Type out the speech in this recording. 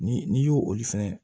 Ni n'i y'olu fɛnɛ